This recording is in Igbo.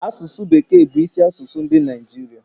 asụsụ bekee bu isi asụsụ ndi Naijiria